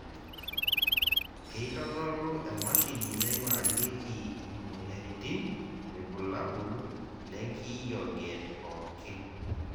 keitodolu emasini naigurarieki imoyiaritin irbulabol le nkiyioget pookin.